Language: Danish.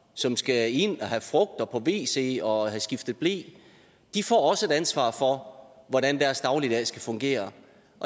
som skal ind at have frugt og på wc og have skiftet ble de får også et ansvar for hvordan deres dagligdag skal fungere